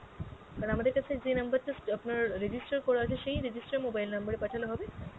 sir আমাদের কাছে যে number টা আপনার register করা আছে সেই register mobile number এ পাঠালে হবে?